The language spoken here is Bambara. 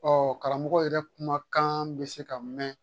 Ɔ karamɔgɔ yɛrɛ kumakan bɛ se ka mɛn